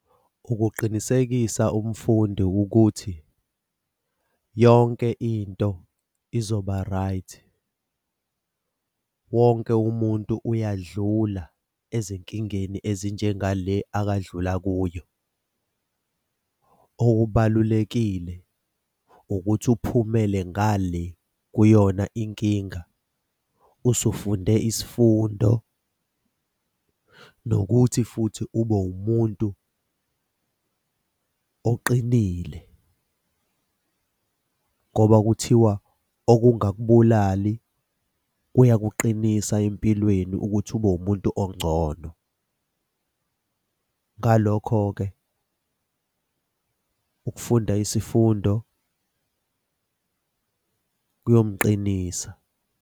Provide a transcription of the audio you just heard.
Ukuqinisekisa umfundi ukuthi yonke into izoba right, wonke umuntu uyadlula ezinkingeni ezinjengale akadlula kuyo. Okubalulekile ukuthi uphumele ngale kuyona inkinga usufunde isifundo, nokuthi futhi ube umuntu oqinile ngoba kuthiwa okungakubulali kuyakuqinisa empilweni ukuthi ube wumuntu ongcono. Ngalokho-ke, ukufunda isifundo kuyomqinisa.